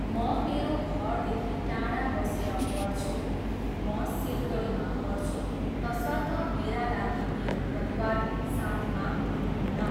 म मेरो घरदेखि टाढा बसेर पढ्छु। म सिलगढीमा पढ्छु, त्यसर्थ मेरा लागि मेरो परिवार साथमा हुनुहुन्न।